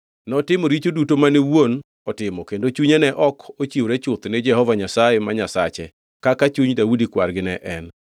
Notimo richo duto mane wuon otimo kendo chunye ne ok ochiwore chuth ni Jehova Nyasaye ma Nyasache, kaka chuny Daudi kwargi ne en.